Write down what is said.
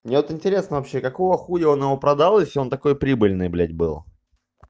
мне вот интересно вообще какого хуя он его продал если он такой прибыльной блядь был